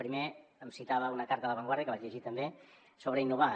primer em citava una carta de la vanguardia que vaig llegir també sobre innovar